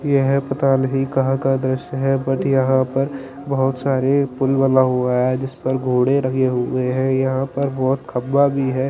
यह पता नहीं कहां का दृश्य है बट यहां पर बहुत सारे पुल बना हुआ है जिस पर घोड़े लगे हुए हैं यहां पर बहुत खंभा भी है।